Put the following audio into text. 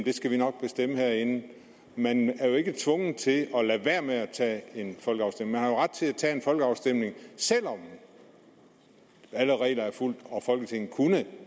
skal vi nok bestemme herinde man er jo ikke tvunget til at lade være med at tage en folkeafstemning man har jo ret til at tage en folkeafstemning selv om alle regler er fulgt og folketinget kunne